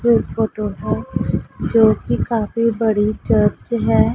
Photo है जो की काफी बड़ी चर्च है।